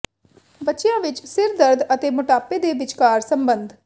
ਬੱਚਿਆਂ ਵਿੱਚ ਸਿਰ ਦਰਦ ਅਤੇ ਮੋਟਾਪੇ ਦੇ ਵਿਚਕਾਰ ਸੰਬੰਧ